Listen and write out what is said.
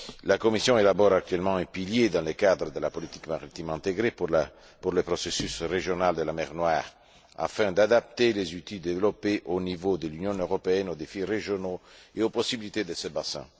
La Commission élabore actuellement un pilier, dans le cadre de la politique maritime intégrée, pour le processus régional de la mer Noire afin d'adapter les outils développés au niveau de l'Union européenne aux défis régionaux et aux possibilités de ce bassin.